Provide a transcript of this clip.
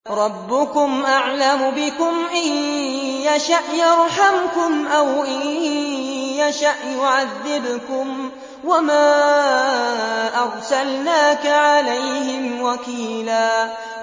رَّبُّكُمْ أَعْلَمُ بِكُمْ ۖ إِن يَشَأْ يَرْحَمْكُمْ أَوْ إِن يَشَأْ يُعَذِّبْكُمْ ۚ وَمَا أَرْسَلْنَاكَ عَلَيْهِمْ وَكِيلًا